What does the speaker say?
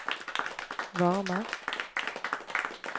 varme